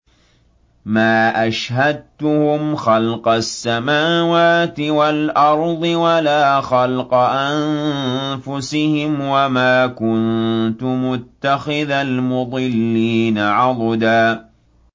۞ مَّا أَشْهَدتُّهُمْ خَلْقَ السَّمَاوَاتِ وَالْأَرْضِ وَلَا خَلْقَ أَنفُسِهِمْ وَمَا كُنتُ مُتَّخِذَ الْمُضِلِّينَ عَضُدًا